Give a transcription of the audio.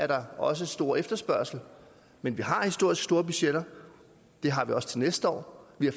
der er også stor efterspørgsel men vi har historisk store budgetter det har vi også til næste år vi har